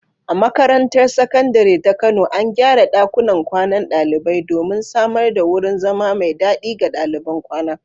A makarantar Sakandare ta Kano, an gyara ɗakunan kwanan ɗalibai domin samar da wurin zama mai dadi ga daliban kwana.